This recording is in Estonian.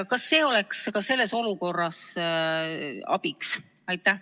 Kas see eelnõu oleks ka sellises olukorras abiks?